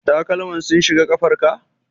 Takalman sun shiga kafar ka?